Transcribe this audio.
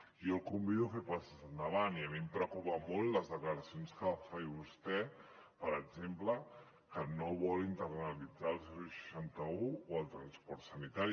jo el convido a fer passes endavant i a mi em preocupen molt les declaracions que fa vostè per exemple que no vol internalitzar el seixanta un o el transport sanitari